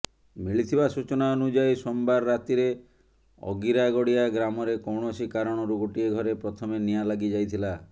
ମିଳିଥିବା ସୂଚନା ଅନୁଯାୟୀ ସୋମବାର ରାତିରେ ଅଗିରାଗଡିଆ ଗ୍ରାମରେ କୌଣସି କାରଣରୁ ଗୋଟିଏ ଘରେ ପ୍ରଥମେ ନିଆଁ ଲାଗିଯାଇଥିଲା